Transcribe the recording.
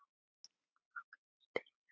Af Ágætis byrjun